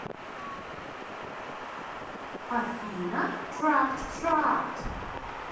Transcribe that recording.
афина трапт трапт